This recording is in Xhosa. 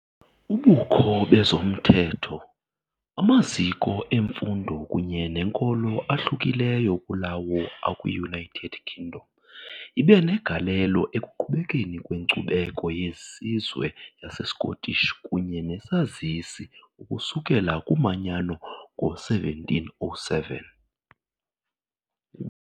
Ubukho bezomthetho, amaziko emfundo kunye nenkolo ahlukileyo kulawo akwi-United Kingdom ibe negalelo ekuqhubekeni kwenkcubeko yesizwe yaseScottish kunye nesazisi ukusukela kumanyano ngo-1707.